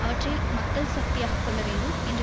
அவற்றை மக்கள் சக்தியாகக் கொள்ள வேண்டும் என்ற